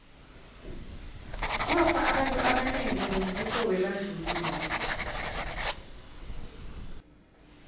kwafa abantu abanengi ngombuso webandlululo